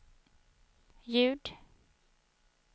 ljud